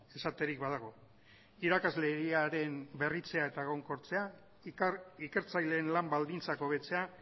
esaterik badago irakasleriaren berritzea eta egonkortzea ikertzaileen lan baldintzak hobetzea